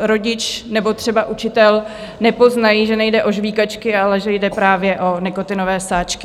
rodič nebo třeba učitel nepoznají, že nejde o žvýkačky, ale že jde právě o nikotinové sáčky.